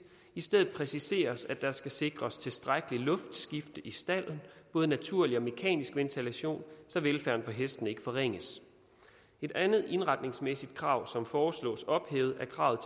i stedet præciseres det at der skal sikres et tilstrækkeligt luftskifte i stalden både naturlig og mekanisk ventilation så velfærden for hestene ikke forringes et andet indretningsmæssigt krav som foreslås ophævet er kravet